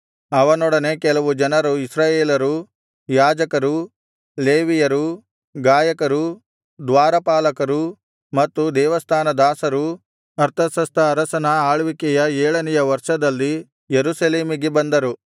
ಅವನೊಡನೆ ಕೆಲವು ಜನರು ಇಸ್ರಾಯೇಲರೂ ಯಾಜಕರೂ ಲೇವಿಯರೂ ಗಾಯಕರೂ ದ್ವಾರಪಾಲಕರೂ ಮತ್ತು ದೇವಸ್ಥಾನದಾಸರೂ ಅರ್ತಷಸ್ತ ಅರಸನ ಆಳ್ವಿಕೆಯ ಏಳನೆಯ ವರ್ಷದಲ್ಲಿ ಯೆರೂಸಲೇಮಿಗೆ ಬಂದರು